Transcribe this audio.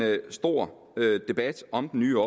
stor debat om den nye